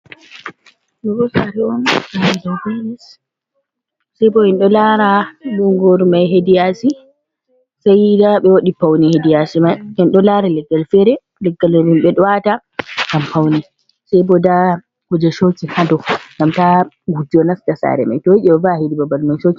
Ɗo bo sare on, sare dow be lis, sai bo en ɗo lara bungoru mai hediyasi, saiyi nda ɓe waɗi pauni hediyasi mai, en ɗo lara leggal fere, leggal himɓe ɗo wata gam fauni, sai bo nda guje shokin hadow gam ta gujjo nasta sare mai to yiiɗi o va'a hidi babal mai.